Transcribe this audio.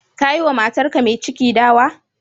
Kayi wa matarka mai ciki dawa?